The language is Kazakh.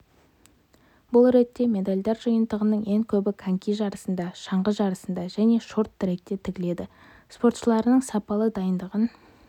бұл ретте медальдар жиынтығының ең көбі коньки жарысында шаңғы жарысында және шорт-тректе тігіледі спортшыларының сапалы дайындығын